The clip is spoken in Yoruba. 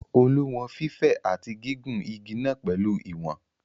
Olú wọn fífẹ̀ àti gígùn igi náà pẹ̀lú ìwọ̀n.